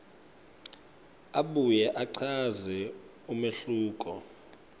abuye achaze umehluko